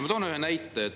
Ma toon ühe näite.